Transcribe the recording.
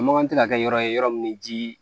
A makan tɛ ka kɛ yɔrɔ ye yɔrɔ min bɛ ji